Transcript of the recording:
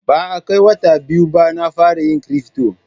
Ba a kai wata biyu ba na fara yin Cryfto.